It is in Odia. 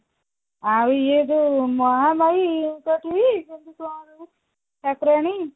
ଆଉ ଇଏ ଯୋଉ ମହାମୟି କେମତି କଣ ଠାକୁରାଣୀ